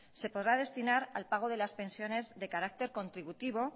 se podrá destinar al pago de las pensiones de carácter contributivo